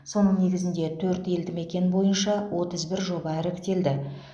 соның негізінде төрт елді мекен бойынша отыз бір жоба іріктелді